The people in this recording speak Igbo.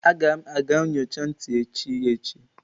Aga m aga nyocha ntị echi echi